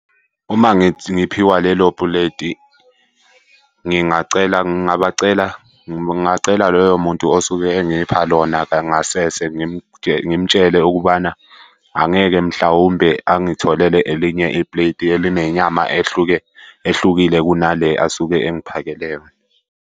Uma ngiphiwa lelo puleti ngingacela ngingabacela, ngingacela loyo muntu osuke engipha lona kangasese ngimtshele ukubana angeke mhlawumbe angitholele elinye ipleti elinenyama ehlukile kunale asuke engiphakele yona.